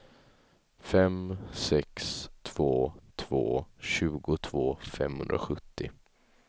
fem sex två två tjugotvå femhundrasjuttio